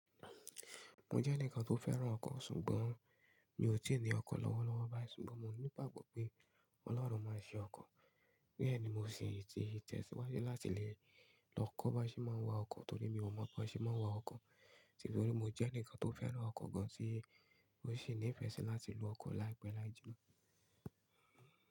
Mo jẹ́ ẹnìkan tó fẹ́ràn ọkọ̀, ṣùgbọ́n mi ò tíì ní ọkọ̀ lọ́wọ́lọ́wọ́ báyìí. Ṣùgbọ́n mo ní ìgbagbo pé Ọlọ́run máa ṣe ọkọ̀. Bẹ́ẹ̀ ni mo sì ti tẹ̀síwájú láti lè lọ kọ́ bí a ṣe máa ń wa ọkọ̀ torí mi ò mọ bí a ṣe máa ń wa ọkọ̀. Torí mo jẹ́ ẹnìkan tó fẹ́ràn ọkọ̀ gan tí ó sì ní ìfẹ́ sí láti lo ọkọ̀ láìpẹ́ láì jina.